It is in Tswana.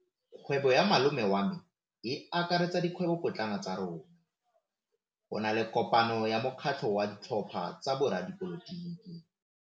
Kgwêbô ya malome wa me e akaretsa dikgwêbôpotlana tsa rona. Go na le kopanô ya mokgatlhô wa ditlhopha tsa boradipolotiki.